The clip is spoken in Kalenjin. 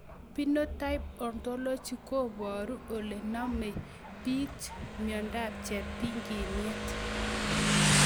Phenotype ontology koparu ole namei pich miondop cheptig'iniet